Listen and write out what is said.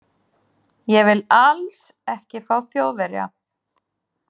Ég vil ALLS ekki fá Þjóðverja.